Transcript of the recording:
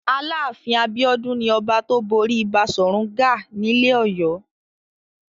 Aláàfin Abíọ́dún ni ọba tó borí Baṣọ̀run Gáà nílẹ̀ Ọ̀yọ́.